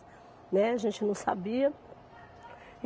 Né, a gente não sabia.